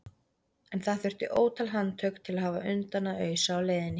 En það þurfti ótal handtök til að hafa undan að ausa á leiðinni.